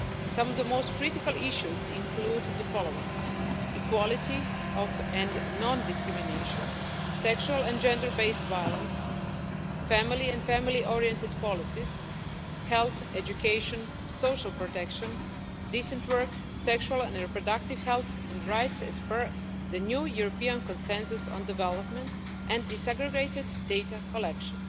Some of the most critical issues include the following equality and non discrimination, sexual and gender based violence, family and family oriented policies, health, education, social protection, decent work, sexual and reproductive health and rights as per the new European consensus on development, and desegregated data collection.